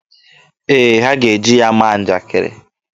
Ee, ha ga-eji ya maa njakiri.